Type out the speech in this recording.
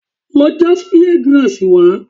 Lọ já spear Grass wá!